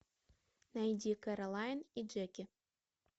найди кэролайн и джеки